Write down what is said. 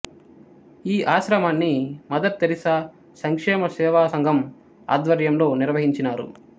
ఈ ఆశ్రమాన్ని Mother Teresa సంక్షేమ సేవా సంఘం ఆధ్వర్యంలో నిర్వహించినారు